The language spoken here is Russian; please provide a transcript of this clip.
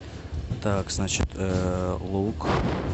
так значит лук